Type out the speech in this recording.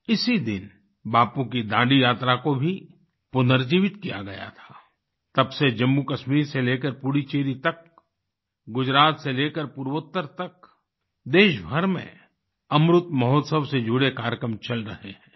इसी दिन बापू की दांडी यात्रा को भी पुनर्जीवित किया गया था तब से जम्मूकश्मीर से लेकर पुडुचेरी तक गुजरात से लेकर पूर्वोत्तर तक देश भर में अमृत महोत्सव से जुड़े कार्यक्रम चल रहे हैं